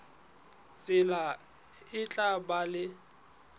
tsela e tla ba le